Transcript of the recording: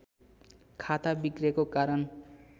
खाता बिग्रेको कारण